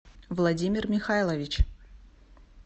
владимир михайлович